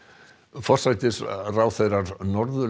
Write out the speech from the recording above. forsætisráðherrar Norðurlanda